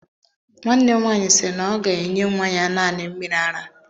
Nwanne m nwaanyị sịrị na ọ ga-enye nwa ya naanị mmiri ara.